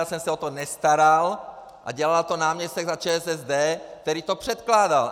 Já jsem se o to nestaral a dělal to náměstek za ČSSD, který to předkládal.